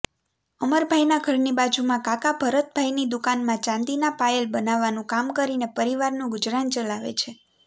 અમરભાઇના ઘરની બાજુમાં કાકા ભરતભાઇની દુકાનમાં ચાંદીનાં પાયલ બનાવવાનું કામ કરીને પરિવારનું ગુજરાન ચલાવે છે